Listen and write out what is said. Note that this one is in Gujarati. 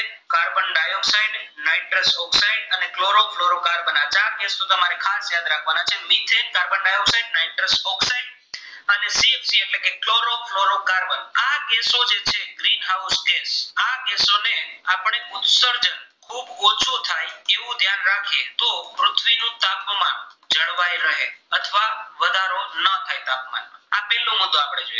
નો મુદ્દો આપણે જોઈએ